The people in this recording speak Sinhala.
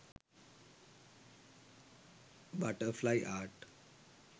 butterfly art